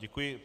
Děkuji.